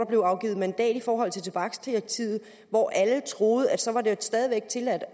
blevet afgivet mandat i forhold til tobaksdirektivet troede alle at så var det stadig væk tilladt